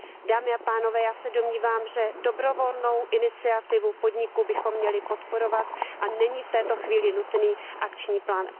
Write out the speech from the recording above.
Dámy a pánové, já se domnívám, že dobrovolnou iniciativu podniků bychom měli podporovat a není v této chvíli nutný akční plán.